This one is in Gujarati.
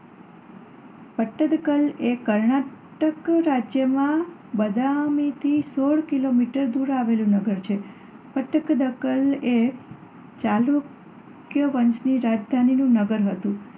પટ્ટદકલ એ કર્ણાટક રાજ્યમાં બદામીથી સોળ કિલોમીટર દૂર આવેલું નગર છે. પટ્ટદકલ એ ચાલુક્ય વંશની રાજધાનીનું નગર હતું.